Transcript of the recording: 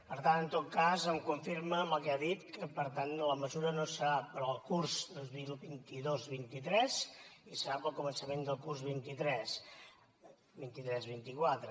per tant en tot cas em confirma amb el que ha dit que per tant la mesura no serà per al curs dos mil vint dos vint tres i serà per al començament del curs vint tres vint quatre